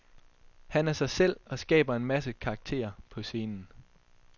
Han er sig selv, og skaber en masse karakterer på scenen.